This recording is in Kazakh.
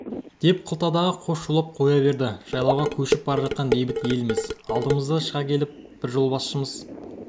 деп қылтадағы қош шулап қоя берді жайлауға көшіп бара жатқан бейбіт елміз алдымыздан шыға келіп жолбасшымызды